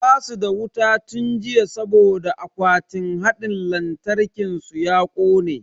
Basu da wuta tun jiya saboda akwatin hadin lantarkin su ya kone.